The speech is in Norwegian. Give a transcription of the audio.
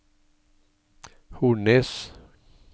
Hornnes